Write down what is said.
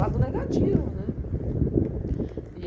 Lado negativo.